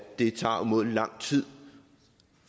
det tager umådelig lang tid